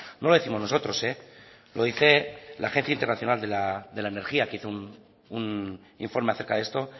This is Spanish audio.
no lo décimos nosotros lo dice la agencia internacional de la energía que hizo un informe acerca de esto